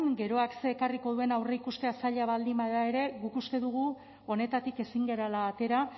geroak zer ekarriko duen aurreikustea zaila baldin bada ere guk uste dugu honetatik ezin garela atera